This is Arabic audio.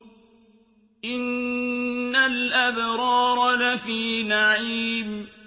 إِنَّ الْأَبْرَارَ لَفِي نَعِيمٍ